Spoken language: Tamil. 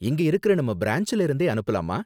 இங்க இருக்கற நம்ம பிரான்ச்ல இருந்தே அனுப்பலாமா?